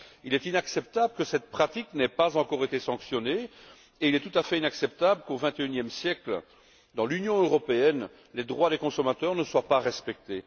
Il est inacceptable que cette pratique n'ait pas encore été sanctionnée et il est tout à fait inacceptable qu'au XXI e siècle, dans l'Union européenne, les droits des consommateurs ne soient pas respectés.